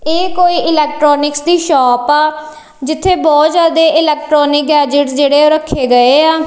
ਇਹ ਕੋਈ ਇਲੈਕਟਰੋਨਿਕਸ ਦੀ ਸ਼ੋਪ ਆ ਜਿੱਥੇ ਬਹੁਤ ਜਿਆਦੇ ਇਲੈਕਟਰੋਨਿਕ ਗੇਜੇਟ ਜਿਹੜੇ ਰੱਖੇ ਗਏ ਆ।